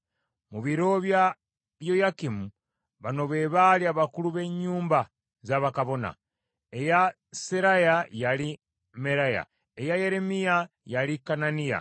Mu biro bya Yoyakimu, bano be baali abakulu b’ennyumba za bakabona: eya Seraya, yali Meraya; eya Yeremiya, yali Kananiya;